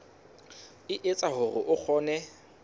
e etsa hore o kgone